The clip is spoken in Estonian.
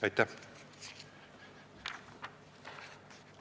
Aitäh!